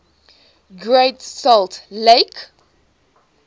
great salt lake